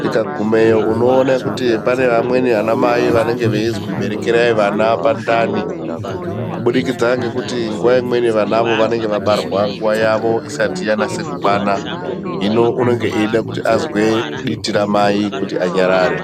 tikagumeyo unoone kuti pane vamweni vanamai vanenge veizwi berekerai vana pandani kubudikidza ngekuti nguwa imweni vanavo vanenga vabarwa nguva yavo isati yanase kukwana. Hino unenge achide kuti azwe diti ramai kuti anyarare.